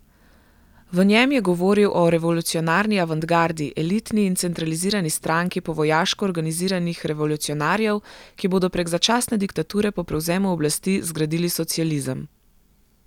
V njem je govoril o revolucionarni avantgardi, elitni in centralizirani stranki po vojaško organiziranih revolucionarjev, ki bodo prek začasne diktature po prevzemu oblasti zgradili socializem.